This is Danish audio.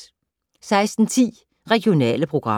16:10: Regionale programmer